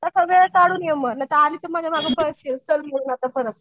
तसा वेळ काढून ये नाहीतर आलीस की मग मझ्या मागं पळशील चल म्हणून परत.